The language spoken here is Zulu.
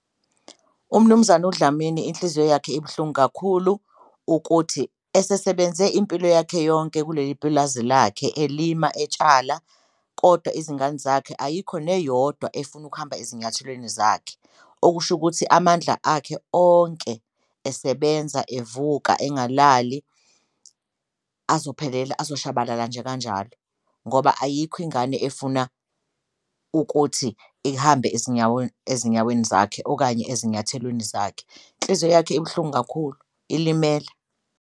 UMnumzane uDlamini inhliziyo yakhe ibuhlungu kakhulu ukuthi esesebenze impilo yakhe yonke kuleli pulazi lakhe elima etsala kodwa izingane zakhe ayikho neyodwa efuna ukuhamba ezinyathelweni zakhe. Okusho ukuthi amandla akhe onke esebenza, evuka, engalali azophelela azoshabalala nje kanjalo ngoba ayikho ingane efuna ukuthi ihambe ezinyaweni zakhe okanye ezinyathelweni zakhe, inhliziyo yakhe ibuhlungu kakhulu, ilimele.